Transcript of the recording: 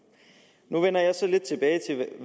nu vender jeg så lidt tilbage